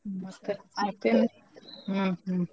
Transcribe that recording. ಹಾ ಮತ್ ಹ್ಮ್ ಹ್ಮ್